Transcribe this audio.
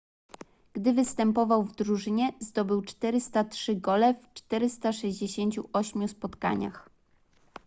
gdy występował w drużynie zdobył 403 gole w 468 spotkaniach